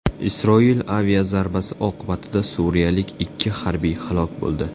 Isroil aviazarbasi oqibatida suriyalik ikki harbiy halok bo‘ldi.